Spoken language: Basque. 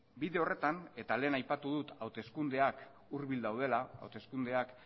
bide horretan eta lehen aipatu dut hauteskundeak hurbil daudela hauteskundeak